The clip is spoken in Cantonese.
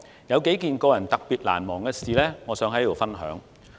有幾件個人特別難忘的事，我想在此分享。